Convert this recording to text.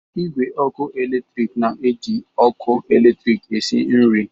Igwe ọkụ eletrik na-eji ọkụ eletrik esi nri.